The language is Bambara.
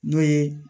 N'o ye